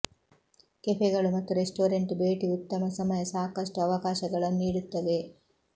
ಕೆಫೆಗಳು ಮತ್ತು ರೆಸ್ಟೋರೆಂಟ್ ಭೇಟಿ ಉತ್ತಮ ಸಮಯ ಸಾಕಷ್ಟು ಅವಕಾಶಗಳನ್ನು ನೀಡುತ್ತವೆ